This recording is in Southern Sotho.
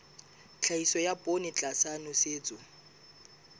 tlhahiso ya poone tlasa nosetso